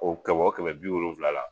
O kɛmɛ o kɛmɛ ni bi wolonwula la